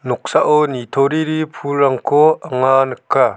noksao nitoriri pulrangko anga nika.